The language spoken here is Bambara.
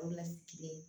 O bɛna kile